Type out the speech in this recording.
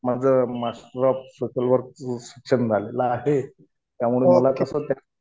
माझं master of social वर्कचं शिक्षण झालेलं आहे. त्यामुळे मला कसं